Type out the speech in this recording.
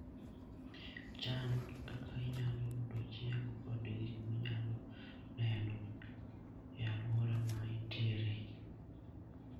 Chan kaka inyalo yudo chiemo kod gik minyalo neno e alwora ma intiere.